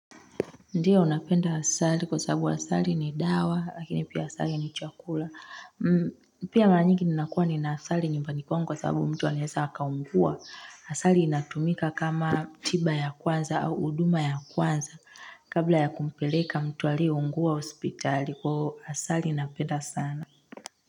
Ndiyo napenda asali kwa sababu asali ni dawa lakini pia asali ni chakula. Pia mara nyingi ninakuwa nina asali nyumbani kwangu kwa sababu mtu anaeza akaungua. Asali inatumika kama tiba ya kwanza au huduma ya kwanza kabla ya kumpeleka mtu aliyeungua hospitali kwa hivyo asali napenda sana.